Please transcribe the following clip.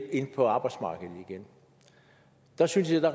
ind på arbejdsmarkedet igen der synes jeg